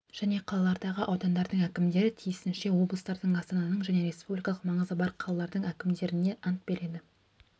және қалалардағы аудандардың әкімдері тиісінше облыстардың астананың және республикалық маңызы бар қалалардың әкімдерне ант береді